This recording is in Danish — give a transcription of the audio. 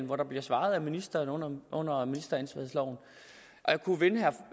hvor der bliver svaret af ministeren under under ministeransvarsloven jeg kunne vende